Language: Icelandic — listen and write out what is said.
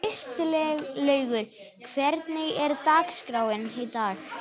Kristlaugur, hvernig er dagskráin í dag?